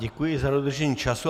Děkuji za dodržení času.